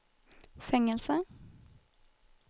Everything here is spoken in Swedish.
fängelse